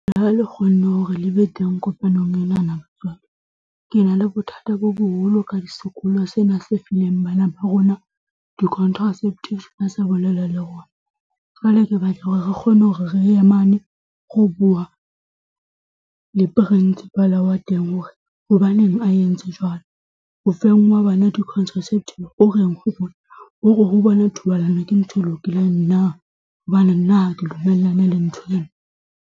Ha le kgonne hore le be teng kopanong enana, batswadi. Ke na le bothata bo boholo ka sekolo sena se fileng bana ba rona di-contraceptive ba sa bolela le rona. Jwale ke batla hore re kgone hore re ye mane ho bua le Principal wa teng hore hobaneng a entse jwalo. Ho feng ha bana di-contraceptive ho reng ho bona? Ho re ho bona thobalano ke ntho e lokileng hobane nna ha ke dumellane le nthwo eno.